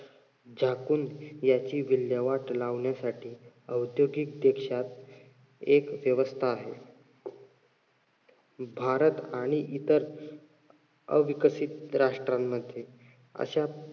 झाकून याची विल्हेवाट लावणयासाठी औद्योगिक देशात एक व्यवस्था आहे. भारत आणि इतर अविकसित राष्ट्रांमध्ये अशा